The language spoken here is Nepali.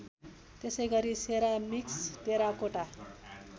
त्यसैगरी सेरामिक्स टेराकोटा